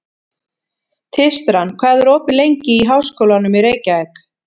Tístran, hvað er opið lengi í Háskólanum í Reykjavík?